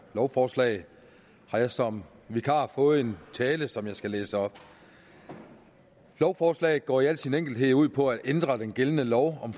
lovforslag har jeg som vikar fået en tale som jeg skal læse op lovforslaget går i al sin enkelthed ud på at ændre den gældende lov om